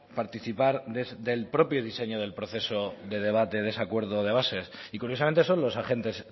participar del propio diseño del proceso de debate de ese acuerdo de bases y curiosamente son los agentes